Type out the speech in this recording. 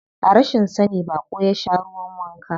A rashin sani baƙo ya sha ruwan wanka.